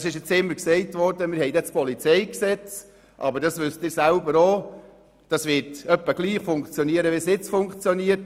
Es ist jetzt immer gesagt werden, wir hätten dann das PolG. Wie Sie selber auch wissen, wird dieses in etwa gleich funktionieren wie heute.